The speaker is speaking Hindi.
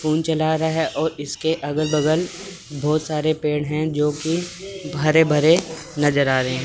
फोन चला रहा है और इसके अगल बगल बहुत सारे पेड़ हैं जो कि भरे भरे नजर आ रहे हैं।